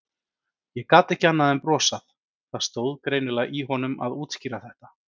Ég gat ekki annað en brosað, það stóð greinilega í honum að útskýra þetta.